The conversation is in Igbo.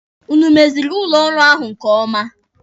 Ụnụ o meziri ụlọ ọrụ ahụ nke ọma?